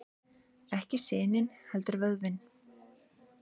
Ekki sinin heldur vöðvinn.